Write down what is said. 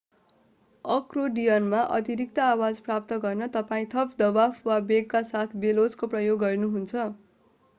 अकोर्डियनमा अतिरिक्त आवाज प्राप्त गर्न तपाईं थप दवाब वा वेगका साथ बेलोजको प्रयोग गर्नुहुन्छ